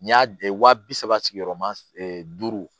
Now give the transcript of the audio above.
N y'a wa bi saba sigiyɔrɔma duuru